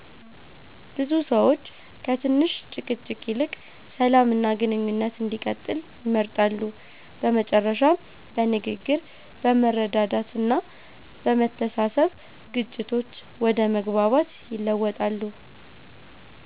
ብዙ ሰዎች ከትንሽ ጭቅጭቅ ይልቅ ሰላም እና ግንኙነት እንዲቀጥል ይመርጣሉ። በመጨረሻም በንግግር፣ በመረዳዳት እና በመተሳሰብ ግጭቶች ወደ መግባባት ይለወጣሉ።